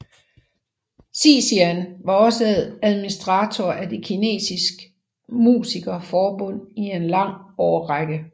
Xixian var også administrator af det Kinesiske Musiker Forbund i en lang årrække